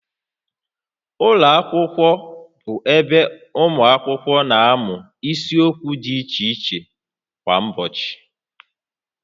Ụlọ akwụkwọ bụ ebe ụmụ akwụkwọ na-amụ isiokwu dị iche iche kwa ụbọchị